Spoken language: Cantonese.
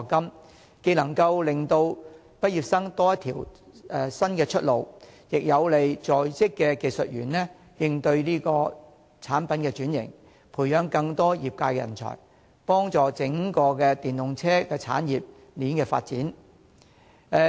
這些措施既能令畢業生多一條新出路，亦有利在職技術人員應對產品轉型，培育更多業界人才，幫助整個電動車產業鏈發展。